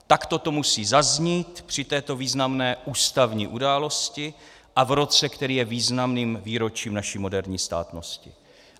Takto to musí zaznít při této významné ústavní události a v roce, který je významným výročím naší moderní státnosti.